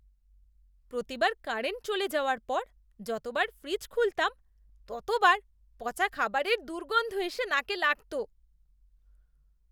প্রতিবার কারেন্ট চলে যাওয়ার পর যতবার ফ্রিজ খুলতাম, ততবার পচা খাবারের দুর্গন্ধ এসে নাকে লাগত।